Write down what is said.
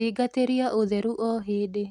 Thingatiria ũtheru o hindi